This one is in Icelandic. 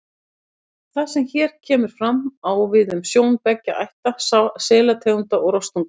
Það sem hér kemur fram, á við um sjón beggja ætta selategunda og rostunga.